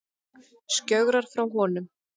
Skjögrar frá honum.